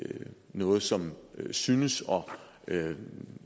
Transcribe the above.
noget som synes at